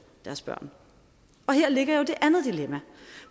deres børn og her ligger jo det andet dilemma